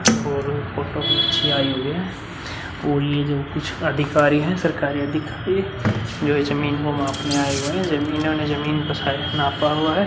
और फोटो भी अच्छी आई हुई है और ये जो कुछ अधिकारी है सरकारी अधिकारी जो जमीन को मापने आए हुए हैं। जमीनों ने जमीनों साइज नापा हुआ है।